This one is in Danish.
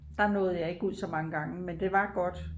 Der nåede jeg ikke ud så mange gange men det var godt